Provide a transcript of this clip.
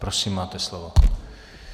Prosím, máte slovo.